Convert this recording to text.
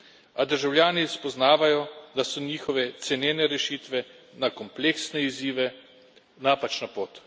A državljani spoznavajo, da so njihove cenene rešitve na kompleksne izzive napačna pot.